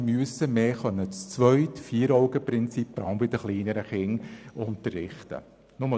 Sie müssten vermehrt zu zweit nach dem Vieraugenprinzip vor allem bei den kleineren Kindern unterrichten können.